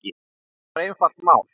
Þetta var einfalt mál.